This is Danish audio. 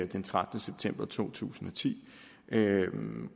den trettende september to tusind og ti